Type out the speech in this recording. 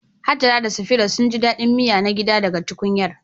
Hajara da Safira sun ji daɗin miya na gida daga tukunyar.